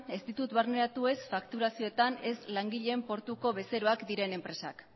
ez ditut barneratu ez fakturazioetan ez langileen portuko bezeroak diren enpresak